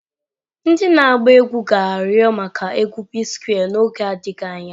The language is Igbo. Ndị na-agba egwu ga-arịọ maka egwu P-Square n'oge adịghị anya.